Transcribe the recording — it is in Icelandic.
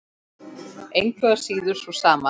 Engu að síður sú sama.